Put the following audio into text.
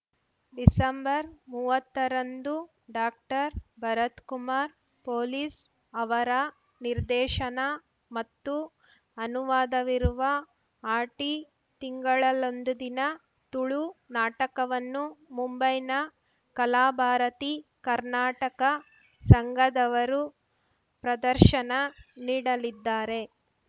ಡಿಸೆಂಬರ್ಮುವತ್ತರಂದು ಡಾಕ್ಟರ್ಭರತ್‌ Kumar police ಅವರ ನಿರ್ದೇಶನ ಮತ್ತು ಅನುವಾದವಿರುವ ಆಟಿ ತಿಂಗಳಲ್ ಒಂದು ದಿನ ತುಳು ನಾಟಕವನ್ನು ಮುಂಬೈನ ಕಲಾಭಾರತಿ ಕರ್ನಾಟಕ ಸಂಘದವರು ಪ್ರದರ್ಶನ ನೀಡಲಿದ್ದಾರೆ